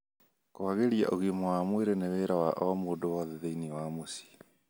kwagĩria ũgima wa mwĩrĩ nĩ wĩra wa o mũndũ wothe thĩiniĩ wa mĩciĩ